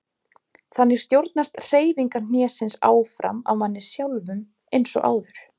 Þannig stjórnast hreyfingar hnésins áfram af manni sjálfum eins og áður.